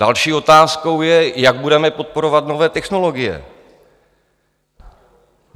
Další otázkou je, jak budeme podporovat nové technologie.